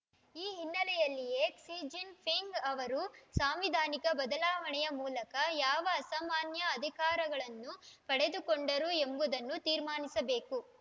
ಈ ಹಿನ್ನೆಲೆಯಲ್ಲಿಯೇ Xi Jinping ಅವರು ಸಾಂವಿಧಾನಿಕ ಬದಲಾವಣೆಯ ಮೂಲಕ ಯಾವ ಅಸಾಮಾನ್ಯ ಅಧಿಕಾರಗಳನ್ನು ಪಡೆದುಕೊಂಡರು ಎಂಬುದನ್ನು ತೀರ್ಮಾನಿಸಬೇಕು